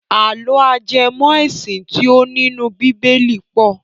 Àlọ́ ajẹmọ́-ẹ̀sìn tí ó nínú bíbélì pọ̀.